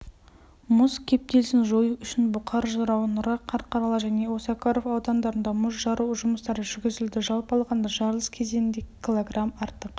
мұз кептелісін жою үшін бұқар жырау нұра қарқаралы және осакаров аудандарында мұз жару жұмыстары жүргізілді жалпы алғанда жарылыс кезінде кг артық